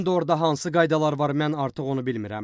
İndi orda hansı qaydalar var, mən artıq onu bilmirəm.